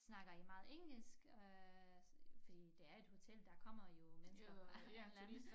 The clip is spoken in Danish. Snakker i meget engelsk øh fordi det er et hotel der kommer jo mennesker fra lande